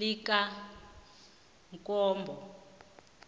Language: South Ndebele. likamkombo